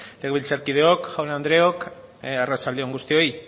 legebiltzarkideok jaun andreok arratsalde on guztioi